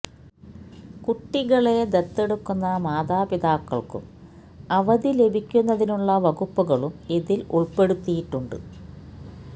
കുട്ടികളെ ദത്തെടുക്കുന്ന മാതാപിതാക്കൾക്കും അവധി ലഭിക്കുന്നതിനുള്ള വകുപ്പുകളും ഇതിൽ ഉൾപ്പെടുത്തിയിട്ടുണ്ട്